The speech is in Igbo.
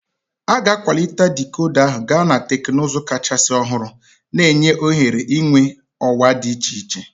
A ga-akwalite dikoda ahụ gaa na teknụzụ kachasị ọhụrụ, na-enye ohere ịnweta ọwa dị iche iche.